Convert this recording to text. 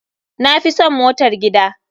Na fi san motar gida.